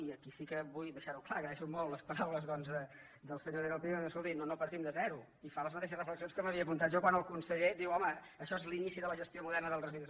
i aquí sí que vull deixar·ho clar agraeixo molt les paraules doncs del senyor daniel pi de dir escolti no partim de zero i fa les mateixes reflexions que m’havia apun·tat jo quan el conseller diu home això és l’inici de la gestió moderna dels residus